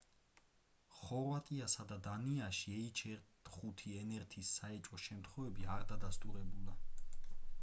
ხორვატიასა და დანიაში h5n1-ის საეჭვო შემთხვევები არ დადასტურებულა